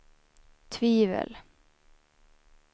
tvivel